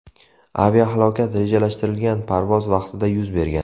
Aviahalokat rejalashtirilgan parvoz vaqtida yuz bergan.